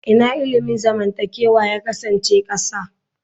Ina ilimin zamantakewa ya kasance ƙasa?